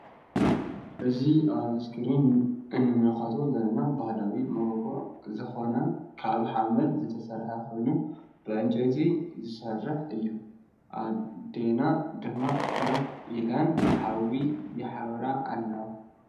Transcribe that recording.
እዚ አብ እስክሪን እንምልከቶ ዘለና ባህላዊ ሞጎጎ ዝኮነ ካብ ሓመድ ዝተሰርሐ ኮይኑ ብዕንጨይቲ ዝሰርሕ እዩ::አዲና ድማ ከፍ ኢለን ሓዊ የሳውራ አለዋ::